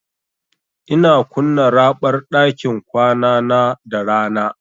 Ina kunna raɓar ɗakin kwanana da rana.